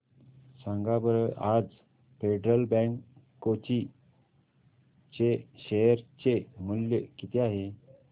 सांगा बरं आज फेडरल बँक कोची चे शेअर चे मूल्य किती आहे